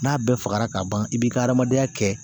N'a bɛɛ fagara ka ban i b'i ka adamadenya kɛ